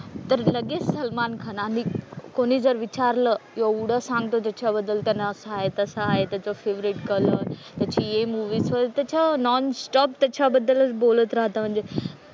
तर लगेच सलमान खान आणि कोणी जर विचारलं एवढं सांगतो त्याच्याबद्दल त्यांना असं आहे तसं आहे त्याचं फेव्हरेट कलर त्याची हि मूव्हीचं, त्याचं नॉन-स्टॉप त्याच्याबद्दलच बोलत राहतं म्हणजे.